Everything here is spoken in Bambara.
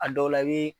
A dɔw la i bi